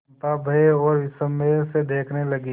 चंपा भय और विस्मय से देखने लगी